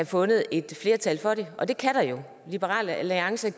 fundet et flertal for det og det kan der jo liberal alliance